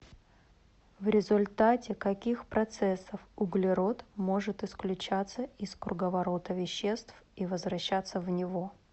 в результате каких процессов углерод может исключаться из круговорота веществ и возвращаться в него